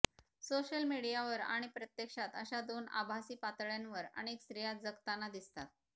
social मीडियावर आणि प्रत्यक्षात अशा दोन आभासी पातळ्यांवर अनेक स्त्रिया जगताना दिसतात